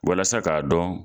Walasa k'a dɔn